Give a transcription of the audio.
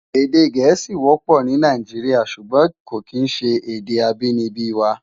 Èdè Gẹẹsi wọpọ ni Náijiriá ṣúgbòn kó kín ṣé èdè ábìníbi wá